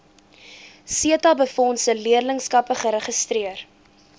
setabefondse leerlingskappe geregistreer